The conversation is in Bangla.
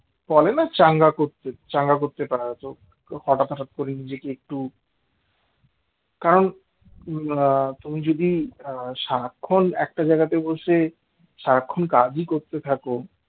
বলেনা চাঙ্গা করতে চাঙ্গা করতে পারা যায় হঠাৎ হঠাৎ করে নিজেকে একটু কারণ তুমি যদি সারাক্ষণ একটা জায়গাতে বসে সারাক্ষণ কাজই করতে থাকো